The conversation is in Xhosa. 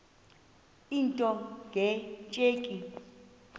into nge tsheki